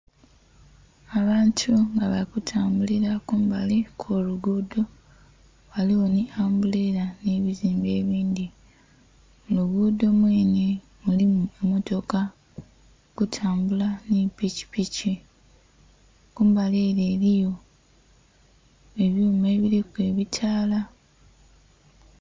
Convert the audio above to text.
Abantu nga bali kutambulira kumbali okw'olugudho ghaligho ni ambulera n'ebizimbe ebindhi, mulugudo mwene mulimu emmotoka eri kutambula ni pikipiki kumbali ere eriyo ebyuma ebiriku ebitala.